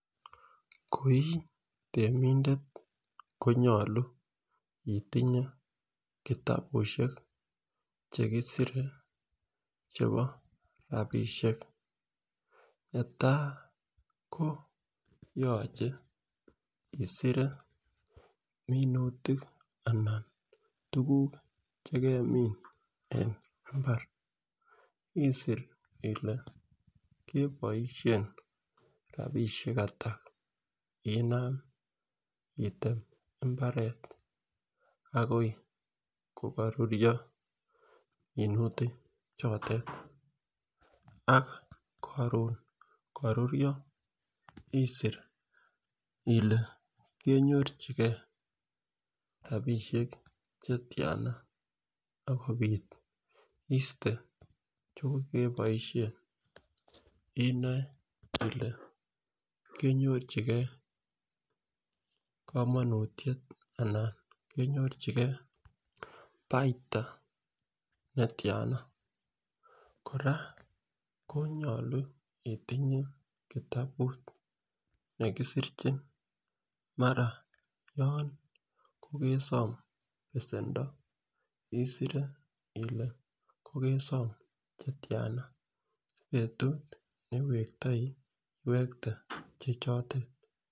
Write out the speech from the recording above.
Koi temindet konyolu itinye kitabushek chekisire chebo rabishek netai ko yoche isire minutik ana tukuk chekemin en imbar isir ile keboishen rabishek atak inam item imbaret akoi ko koruryo minutik chotet ak korun kororyo isir ile kenyorchigee rabishek chetiana akopit iste chekokeboishen inoe ile kenyorchigee komonutyet anan kenyorchigee baita netyana. Koraa konyolu itinye kitabut nekisirchin mara kokesom besendo isire ile kokesom chetyana si betut newektoi iwekte chechotet.